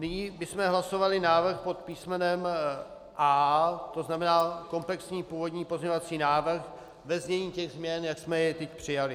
Nyní bychom hlasovali návrh pod písmenem A, to znamená komplexní původní pozměňovací návrh ve znění těch změn, jak jsme je teď přijali.